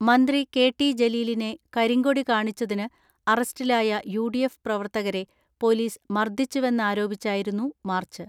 മന്ത്രി K T ജലീലിനെ കരിങ്കൊടി കാണിച്ചു തിന് അറസ്റ്റിലായ യു ഡി എഫ് പ്രവർത്തകരെ പൊലീസ് മർദ്ദിച്ചുവെന്നാരോപിച്ചായിരുന്നു മാർച്ച്.